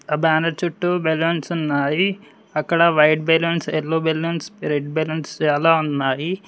ఆ బ్యానర్ చుట్టూ బెలూన్స్ ఉన్నాయి అక్కడ white balloons yellow balloons red balloons చాలా ఉన్నాయి.